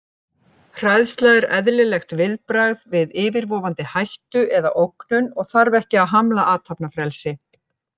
Hræðsla er eðlilegt viðbragð við yfirvofandi hættu eða ógnun og þarf ekki að hamla athafnafrelsi.